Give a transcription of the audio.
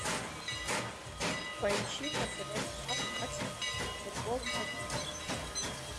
поищи на тв канал матч футбол один